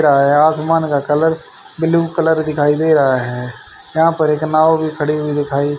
रहा है आसमान का कलर ब्लू कलर दिखाई दे रहा है यहां पर एक नाव भी खड़ी हुई दिखाई--